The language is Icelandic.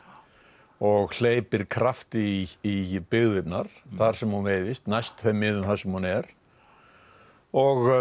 og hleypir krafti í í byggðirnar þar sem hún veiðist næst þeim miðum þar sem hún er og